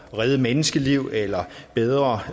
redde menneskeliv eller bedre